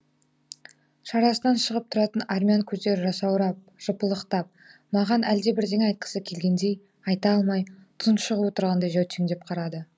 шарасынан шығып тұратын армян көздері жасаурап жыпылықтап маған әлдебірдеңе айтқысы келгендей айта алмай тұншығып отырғандай жәутеңдеп қарады